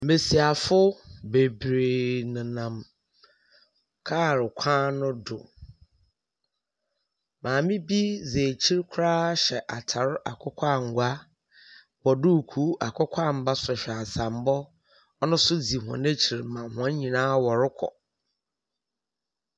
Mbesiafo bebree nenam lɔɔre kwan no do, maame bi di akyire koraa hyɛ ataade akokɔ sradeɛ, bɔ duku akokɔ anwa.